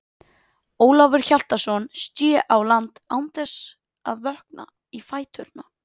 Ólafur Hjaltason sté á land án þess að vökna í fæturna.